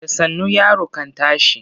Da sannu yaro kan tashi.